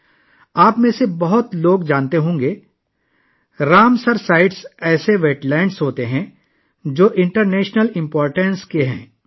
آپ میں سے بہت سے لوگ جانتے ہوں گے کہ رامسر سائٹس ایسی آبی ذخائر ہیں جس کی بین الاقوامی اہمیتہے